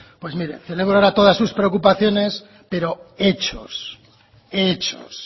pues mire celebro ahora todas sus preocupaciones pero hechos hechos